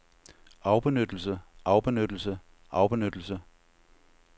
afbenyttelse afbenyttelse afbenyttelse